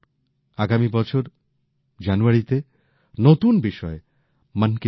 আগামী বছর জানুয়ারিতে নতুন বিষয়ে মনকি বাত হবে